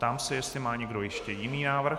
Ptám se, jestli má někdo ještě jiný návrh.